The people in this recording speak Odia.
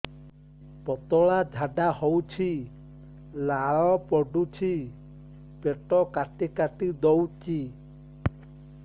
ପତଳା ଝାଡା ହଉଛି ଲାଳ ପଡୁଛି ପେଟ କାଟି କାଟି ଦଉଚି